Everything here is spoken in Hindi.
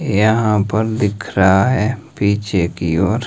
यहां पर दिख रहा है पीछे की ओर --